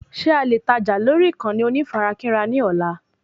Ṣé alè tajà lórí ìkànnì onífarakínra ní ọ̀la